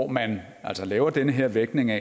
man altså laver den her vægtning af